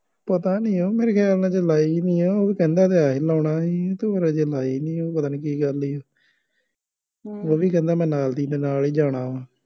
ਪਤਾ ਨਹੀਂ ਹੈ ਉਹ ਮੇਰੇ ਖਿਆਲ ਹਜੇ ਲਾਈ ਨਹੀਂ ਉਹ ਕਹਿੰਦਾ ਹੈ ਸੀ ਲਾਉਣਾ ਹੈ ਹੀ ਪਰ ਹਜੇ ਲਾਈ ਨਹੀਂ ਉਹਨੂੰ ਪਤਾ ਨਹੀਂ ਕੀ ਗੱਲ ਏ ਉਹ ਵੀ ਕਹਿੰਦਾ ਮੈਂ ਨਾਲ ਦੀ ਨਾਲ ਹੀ ਜਾਣਾ ਵਾ